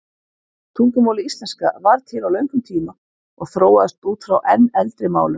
Tungumálið íslenska varð til á löngum tíma og þróaðist út frá enn eldri málum.